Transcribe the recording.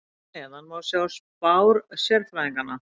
Hér að neðan má sjá spár sérfræðinganna.